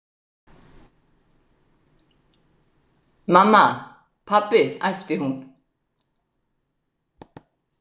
Mamma, pabbi æpti hún.